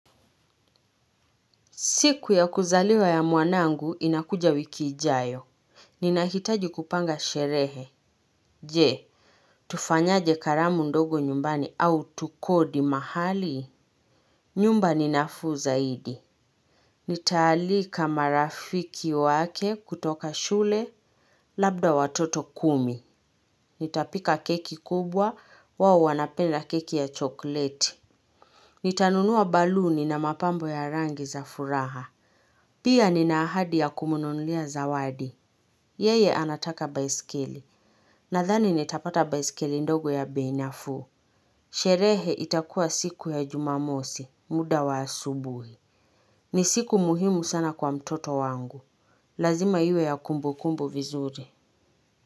Siku ya kuzaliwa ya mwanangu, inakuja wiki ijayo. Ninahitaji kupanga sherehe. Je, tufanyaje karamu ndogo nyumbani au tukodi mahali? Nyumba ni nafuu zaidi. Nitaalika marafiki wake kutoka shule, labda watoto kumi. Nitapika keki kubwa, wao wanapenda keki ya chokleti. Nitanunua baluni na mapambo ya rangi za furaha. Pia nina ahadi ya kumnunulia zawadi. Yeye anataka baiskeli. Nadhani nitapata baiskeli ndogo ya bei nafuu. Sherehe itakuwa siku ya jumamosi, muda wa asubuhi. Ni siku muhimu sana kwa mtoto wangu. Lazima iwe ya kumbukumbu vizuri.